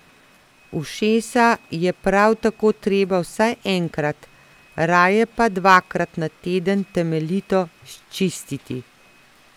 Ušesa je prav tako treba vsaj enkrat, raje pa dvakrat na teden temeljito sčistiti.